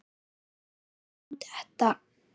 Myndi hann detta?